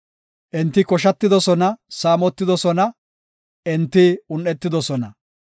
Enti koshatidosona; saamotidosona; enti un7etidosona.